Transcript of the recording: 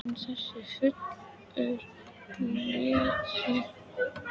En þessi úlfur lét sér ekki bregða við læstar dyr.